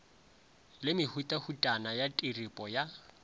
le mehutahutana ya tiripo ya